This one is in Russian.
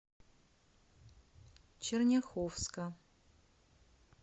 черняховска